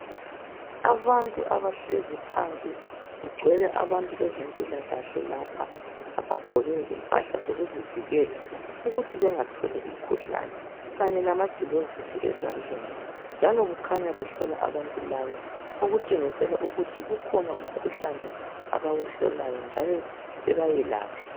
Abantu abahlezi phansi, kugcwele abantu bezempilakahle lapha abagqoke impahla zokuzivikela ukuthi bengatholi umkhuhlane kanye lama gilovisi ezandleni njalo, kukhanya bahlola abantu laba okutshengisela ukuthi kukhona umkhuhlane abawuhlolayo njalo bebayelaphe.